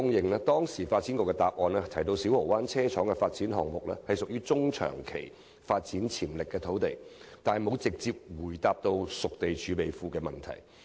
發展局在當時的答覆中提到，小蠔灣車廠發展項目屬中、長期發展潛力土地，但卻沒有直接回答有關熟地儲備庫的問題。